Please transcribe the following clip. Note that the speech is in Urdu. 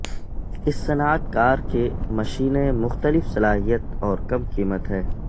اس صنعت کار کے مشینیں مختلف صلاحیت اور کم قیمت ہے